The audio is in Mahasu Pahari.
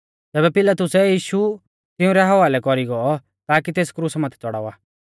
तैबै पिलातुसै यीशु तिंउरै हवालै कौरी गौ ताकी तेस क्रुसा माथै च़ौड़ावा लै